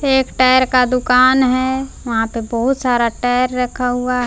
ये एक टायर का दुकान है वहां पे बहुत सारा टायर रखा हुआ है।